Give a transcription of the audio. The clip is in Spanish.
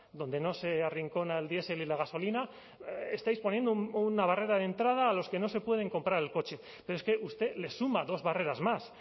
donde no se arrincona al diesel y la gasolina estáis poniendo una barrera de entrada a los que no se pueden comprar el coche pero es que usted le suma dos barreras más